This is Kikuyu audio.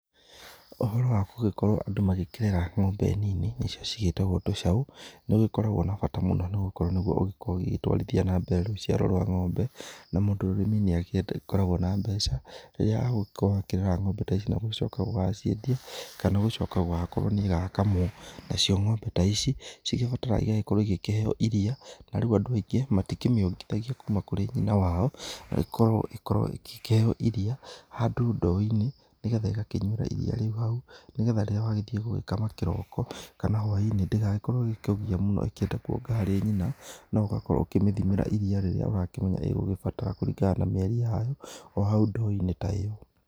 Ũhoro wa gũgĩkorwo andũ magĩkĩrera ngombe nini nĩcio cigĩtagwo tũcaũ, nĩ ũgĩkoragwo na bata mũno nĩ gũkorwo nĩguo ũgĩkoragwo ũgĩtwarithia na mbere rũciaro rwa ngombe, na mũndũ wĩ ũrĩmi nĩ agĩkoragwo na mbeca rĩrĩa agũgĩkorwo agĩkĩrera ng'ombe ta ici na gũcoka gũgaciendia, kana gũcoka gũgakorwo nĩ ĩgakamwo, nacio ng'ombe ta ici, cigĩbataraga igagĩkorwo ĩgĩkĩheo iria na rĩu andũ aingĩ matikĩmĩongithagia kuma kũrĩ nyina wao, ĩgĩkoragwo ĩkĩheo iria handũ ndoo-inĩ, nĩgetha ĩgakĩnyuĩra iria rĩu hau, nĩgetha rĩrĩa wagĩthiĩ gũgĩkama kĩroko kana hwaĩ-inĩ, ndĩgagĩkorwo ĩgĩkũgia mũno ĩkĩenda kuonga harĩ nyina na ũgakorwo ũgĩkĩmĩthimĩra iria rĩrĩa ũrakĩmenya nĩ ĩrabatara kũringana na mĩeri yayo, o hau ndoo-inĩ ta ĩyo.